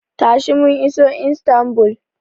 Tashi, mun iso Istanbul.